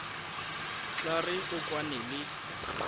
tla re o kwane le